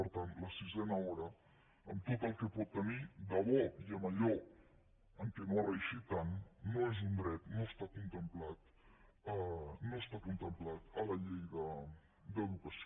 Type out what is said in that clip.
per tant la sisena hora amb tot el que pot tenir de bo i amb allò en què no ha reeixit tant no és un dret no està contemplada a la llei d’educació